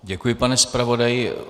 Děkuji, pane zpravodaji.